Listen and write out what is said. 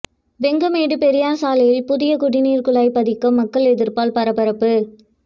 வெங்கமேடு பெரியார் சாலையில் புதிய குடிநீர் குழாய் பதிக்க மக்கள் எதிர்ப்பால் பரபரப்பு